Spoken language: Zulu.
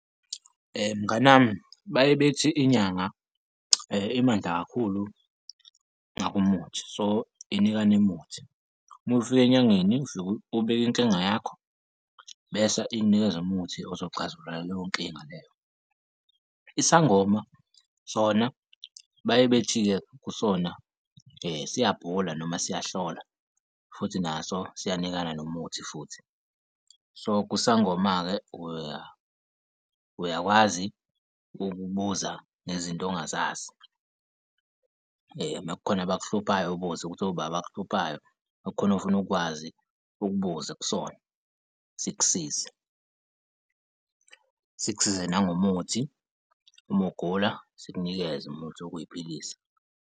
Mngani wami baye bethi inyanga imandla kakhulu ngakumuthi, so, inikana umuthi, uma ufika enyangeni ufike ubike inkinga yakho bese ikunikeza umuthi ozoxazulula leyo nkinga leyo. Isangoma sona baye bethi-ke kusona siyabhula noma siyahlola futhi naso siyanikana nomuthi futhi. So, kusangoma-ke uyakwazi ukubuza nezinto ongazazi uma kukhona abakuhluphayo, ubuze ukuthi oba abakuhluphayo, uma kukhona ofuna ukwazi ukubuza kusona sikusize, sikusize nangomuthi. Uma ugula sikunikeze umuthi wokuy'philisa.